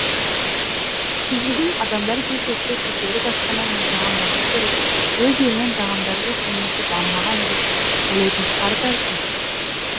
шетелден адамдар келсе тек шетелдік асхана мен тағамдарды көріп өз елінің тағамдары жоқ немесе дамымаған деп ойлайтын шығар бәлкім